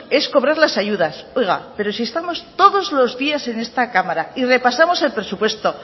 es cobrar la ayudas oiga pero si estamos todos los días en esta cámara y repasamos el presupuesto